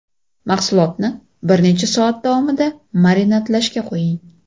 Mahsulotni bir necha soat davomida marinadlashga qo‘ying.